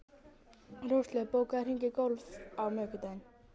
Róslaug, bókaðu hring í golf á miðvikudaginn.